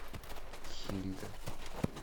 хильда